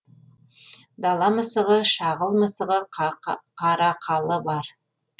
дала мысығы шағыл мысығы қарақалы бар